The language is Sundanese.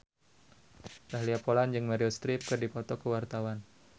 Dahlia Poland jeung Meryl Streep keur dipoto ku wartawan